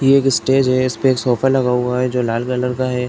ये एक स्टेज है। इस पे एक सोफा लगा हुआ जो एक लाल कलर का है।